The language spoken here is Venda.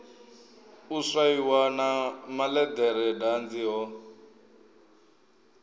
u swaiwa na malederedanzi ho